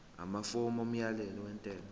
amafomu omyalelo wentela